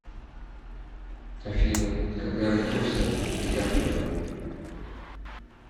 афина когда родился ди каприо